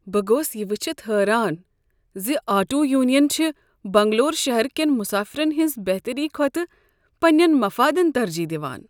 بہٕ گوس یہ وٕچھتھ حیران ز آٹو یونینہٕ چھےٚ بنگلورو شہرٕ کین مسافرن ہنٛز بہتری کھۄتہٕ پننین مفادن ترجیح دوان۔